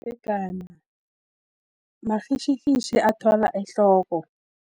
Umdzegana, marhitjhirhitjhi athwala ehloko.